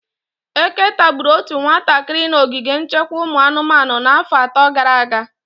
Eke tagburu otu nwatakịrị na ogige nchekwa ụmụ anụmanụ n'afọ atọ gara aga.